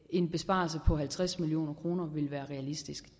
en besparelse på halvtreds million kroner ville være realistisk